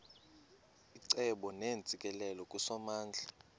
icebo neentsikelelo kusomandla